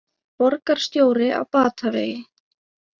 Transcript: Borgarstjóri á batavegi